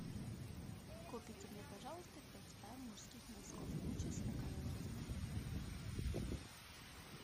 купите мне пожалуйста пять пар мужских носков гуччи сорокового размера